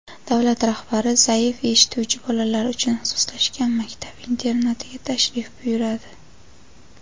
davlat rahbari zaif eshituvchi bolalar uchun ixtisoslashgan maktab internatiga tashrif buyuradi.